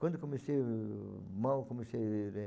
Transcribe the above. Quando comecei, mal comecei a ler.